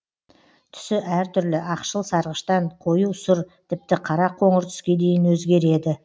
түсі әр түрлі ақшыл сарғыштан қою сұр тіпті қара қоңыр түске дейін өзгереді